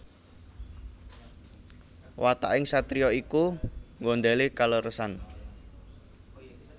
Wataking satriya iku nggondhèli kaleresan